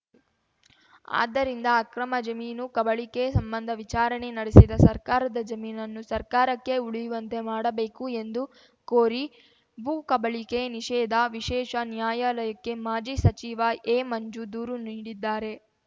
ಆದ್ದರಿಂದ ಅಕ್ರಮ ಜಮೀನು ಕಬಳಿಕೆ ಸಂಬಂಧ ವಿಚಾರಣೆ ನಡೆಸಿದ ಸರ್ಕಾರದ ಜಮೀನನ್ನು ಸರ್ಕಾರಕ್ಕೆ ಉಳಿಯುವಂತೆ ಮಾಡಬೇಕು ಎಂದು ಕೋರಿ ಭೂಕಬಳಿಕೆ ನಿಷೇಧ ವಿಶೇಷ ನ್ಯಾಯಾಲಯಕ್ಕೆ ಮಾಜಿ ಸಚಿವ ಎಮಂಜು ದೂರು ನೀಡಿದ್ದಾರೆ